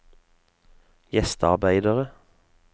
gjestearbeidere